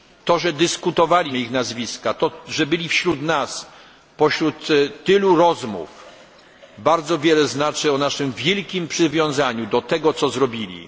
To, że dyskutowaliśmy ich nazwiska, to, że byli wśród nas, wśród tylu rozmów, bardzo wiele znaczy o naszym wielkim przywiązaniu do tego, co zrobili.